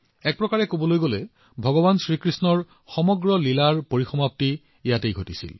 এক প্ৰকাৰে এই পৃথিৱীৰ তেওঁৰ লীলাবোৰ তাত সমাপ্ত হৈছিল